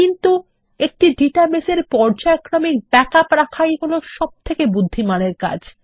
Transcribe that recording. কিন্তু একটি ডাটাবেস এর পর্যায়ক্রমিক ব্যাকআপ রাখাই হলো সবথেকে বুদ্ধিমানের কাজ